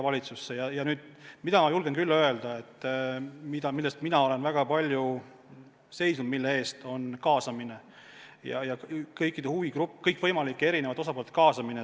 Aga seda ma julgen küll öelda, et asi, mille eest ma olen väga palju seisnud, on kaasamine, kõikvõimalike erinevate osapoolte kaasamine.